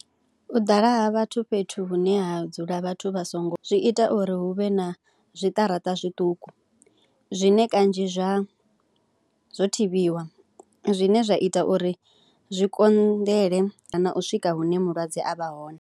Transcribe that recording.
U ḓala ha vhathu fhethu hune ha dzula vhathu vha songo, zwi ita uri hu vhe na zwiṱaraṱa zwiṱuku zwine kanzhi zwa zwo thivhiwa zwine zwa ita uri zwi konḓele kana u swika hune mulwadze a vha hone.